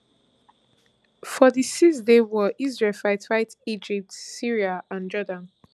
for di sixday war israel fight fight egypt syria and jordan